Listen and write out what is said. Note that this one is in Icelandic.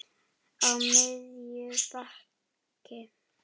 Á miðju baki.